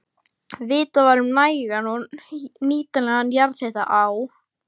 Vitað var um nægan og nýtanlegan jarðhita á